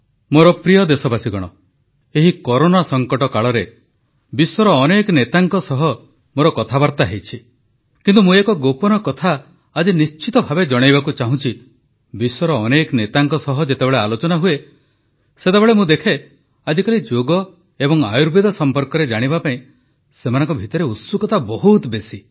ମୋର ପ୍ରିୟ ଦେଶବାସୀଗଣ ଏହି କରୋନା ସଂକଟ କାଳରେ ବିଶ୍ୱର ଅନେକ ନେତାଙ୍କ ସହ ମୋର କଥାବାର୍ତ୍ତା ହୋଇଛି କିନ୍ତୁ ମୁଁ ଏକ ଗୋପନ କଥା ଆଜି ନିଶ୍ଚିତଭାବେ ଜଣାଇବାକୁ ଚାହୁଁଛି ବିଶ୍ୱର ଅନେକ ନେତାଙ୍କ ସହ ଯେତେବେଳେ ଆଲୋଚନା ହୁଏ ସେତେବେଳେ ମୁଁ ଦେଖେ ଆଜିକାଲି ଯୋଗ ଓ ଆୟୁର୍ବେଦ ସଂପର୍କରେ ଜାଣିବା ପାଇଁ ସେମାନଙ୍କ ଭିତରେ ଉତ୍ସୁକତା ବହୁତ ବେଶୀ